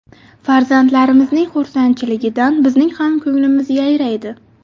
Farzandlarimizning xursandchiligidan bizning ham ko‘nglimiz yayraydi.